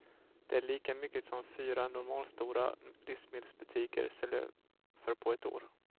Det är lika mycket som fyra normalstora livsmedelsbutiker säljer för på ett år.